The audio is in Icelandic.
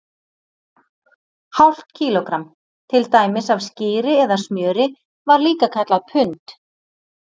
Hálft kílógramm, til dæmis af skyri eða smjöri, var líka kallað pund.